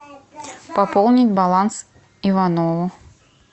пополнить баланс иванову